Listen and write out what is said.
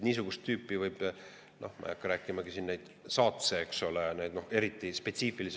Niisugust tüüpi eriti spetsiifilisi eksootilisi piirijoone kohti.